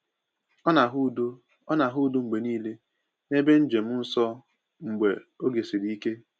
O na-ahụ udo O na-ahụ udo mgbe niile n’ebe njem nsọ mgbe oge siri ike.